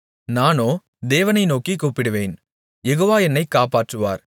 நானோ தேவனை நோக்கிக் கூப்பிடுவேன் யெகோவா என்னை காப்பாற்றுவார்